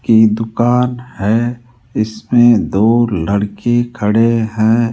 की दुकान है इसमें दो लड़के खड़े है।